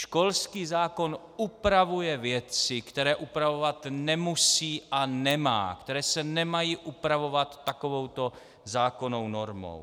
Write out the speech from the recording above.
Školský zákon upravuje věci, které upravovat nemusí a nemá, které se nemají upravovat takovouto zákonnou normou.